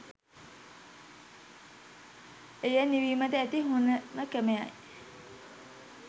එය නිවීමට ඇති හොඳම ක්‍රමයයි.